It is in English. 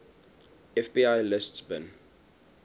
fbi lists bin